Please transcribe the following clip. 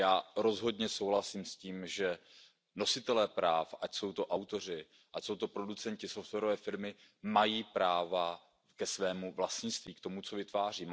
Já rozhodně souhlasím s tím, že nositelé práv, ať jsou to autoři, ať jsou to producenti, softwarové firmy, mají práva ke svému vlastnictví, k tomu, co vytváří.